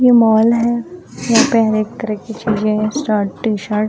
यह मॉल है यहाँ पे हर एक तरह की चीज़े है शर्ट टी शर्ट --